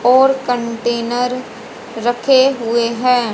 और कंटेनर रखे हुए हैं।